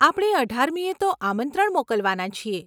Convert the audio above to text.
આપણે અઢારમીએ તો આમંત્રણ મોકલવાના છીએ.